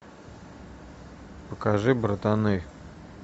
покажи братаны